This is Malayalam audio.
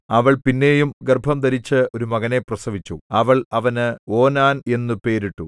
അവൾ പിന്നെയും ഗർഭംധരിച്ച് ഒരു മകനെ പ്രസവിച്ചു അവൾ അവന് ഓനാൻ എന്നു പേരിട്ടു